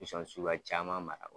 Bɛ son ni suguya caman mara